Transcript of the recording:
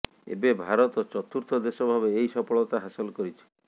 ଏବେ ଭାରତ ଚତୁର୍ଥ ଦେଶ ଭାବେ ଏହି ସଫଳତା ହାସଲ କରିଛି